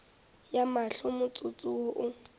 ya mahlo motsotso wo o